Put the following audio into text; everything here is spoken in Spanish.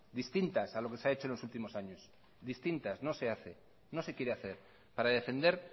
distintas a lo que se ha hecho en los últimos años no se hace no se quiere hacer para defender